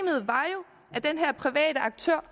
det den her private aktør